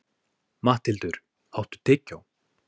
Matthildur, áttu tyggjó?